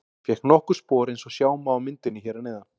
Hann fékk nokkur spor eins og sjá má á myndinni hér að neðan.